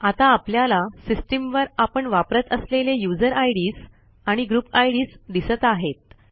आता आपल्याला सिस्टीमवर आपण वापरत असलेले यूझर आयडीएस आणि ग्रुप आयडीएस दिसत आहेत